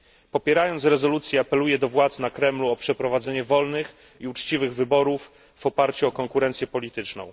Popierając rezolucję, apeluję do władz na Kremlu o przeprowadzenie wolnych i uczciwych wyborów w oparciu o konkurencję polityczną.